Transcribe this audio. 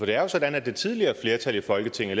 det er jo sådan at det tidligere flertal i folketinget